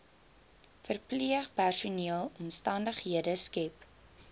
verpleegpersoneel omstandighede skep